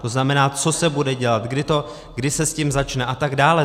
To znamená, co se bude dělat, kdy se s tím začne a tak dále.